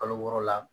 Kalo wɔɔrɔ la